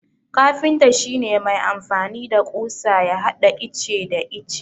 Kafinta shi ne mai amfani da ƙusa ya hada ice da ice.